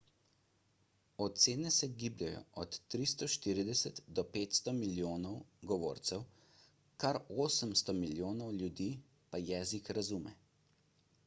ocene se gibljejo od 340 do 500 milijonov govorcev kar 800 milijonov ljudi pa jezik razume